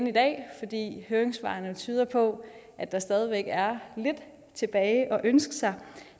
i dag fordi høringssvarene jo tyder på at der stadig væk er lidt tilbage at ønske sig